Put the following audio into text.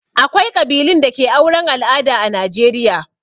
Akwai ƙabilun da ke auren al'ada a Najeriya.